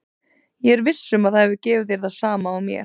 Ég er viss um að það hefur gefið þér það sama og mér.